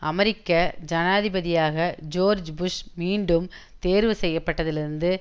அமெரிக்க ஜனாதிபதியாக George Bush மீண்டும் தேர்வுசெய்யப்பட்டதிலிருந்து